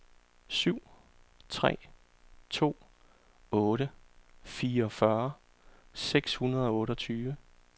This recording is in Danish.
syv tre to otte fireogfyrre seks hundrede og otteogtyve